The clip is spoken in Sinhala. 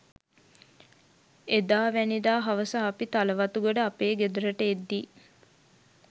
එදාවැනිදා හවස අපි තලවතුගොඩ අපේ ගෙදරට එද්දී